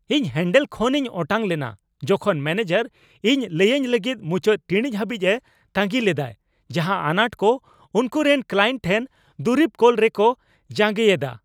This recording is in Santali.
ᱤᱧ ᱦᱮᱹᱱᱰᱮᱞ ᱠᱷᱚᱱ ᱤᱧ ᱚᱴᱟᱝ ᱞᱮᱱᱟ ᱡᱚᱠᱷᱚᱱ ᱢᱮᱹᱱᱮᱡᱟᱨ ᱤᱧ ᱞᱟᱹᱭᱟᱹᱧ ᱞᱟᱹᱜᱤᱫ ᱢᱩᱪᱟᱹᱫ ᱴᱤᱲᱤᱡ ᱦᱟᱹᱵᱤᱡ ᱮ ᱛᱟᱺᱜᱤ ᱞᱮᱫᱟᱭ ᱡᱟᱦᱟᱸ ᱟᱱᱟᱴ ᱠᱚ ᱩᱱᱠᱩᱨᱮᱱ ᱠᱞᱟᱭᱮᱱᱴ ᱴᱷᱮᱱ ᱫᱩᱨᱤᱵ ᱠᱳᱞ ᱨᱮᱠᱚ ᱡᱟᱸᱜᱮᱭᱮᱫᱟ ᱾